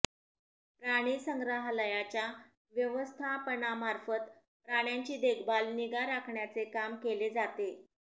प्राणिसंग्रहालयाच्या व्यवस्थापनामार्फत प्राण्यांची देखभाल निगा राखण्याचे काम केले जाते